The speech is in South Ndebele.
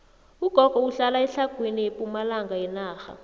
ugogo uhlala etlhagwini pumalanga yenarha